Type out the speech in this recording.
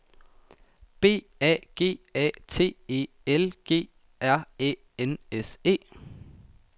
B A G A T E L G R Æ N S E